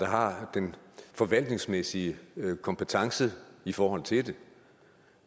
har den forvaltningsmæssige kompetence i forhold til det